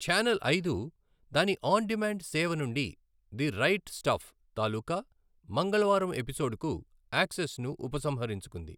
Channel ఐదు దాని on demand సేవ నుండి ది రైట్ స్టఫ్ తాలూకా మంగళవారం ఎపిసోడ్కు యాక్సెస్ను ఉపసంహరించుకుంది.